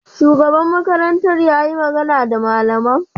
Shugaba makarantar yayi magana da malaman?